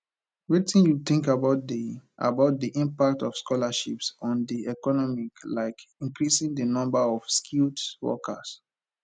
wetin you think about di about di impact of scholarships on di economy like increasing di number of skilled workers